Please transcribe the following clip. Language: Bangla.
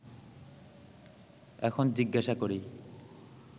এখন জিজ্ঞাসা করি